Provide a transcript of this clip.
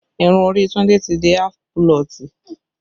Irun orí Tunde ti di aafu pulọ̀tì